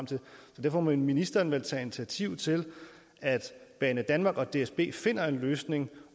må ministeren vel tage initiativ til at banedanmark og dsb finder en løsning